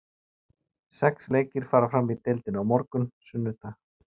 Sex leikir fara fram í deildinni á morgun, sunnudag.